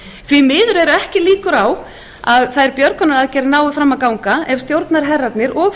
því miður eru ekki líkur á að þær björgunaraðgerðir nái fram að ganga ef stjórnarherrarnir og